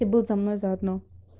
ты был за мной заодно